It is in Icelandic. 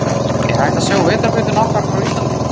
Er hægt að sjá Vetrarbrautina okkar frá Íslandi?